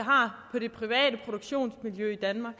på det private produktionsmiljø i danmark